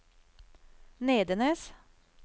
Nedenes